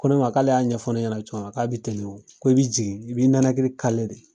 Ko ne ma k'ale y'a ɲɛfɔ ɲɛna cogoya min na, k'a be ten de o, ko i be jigin, i b'i nalakili de.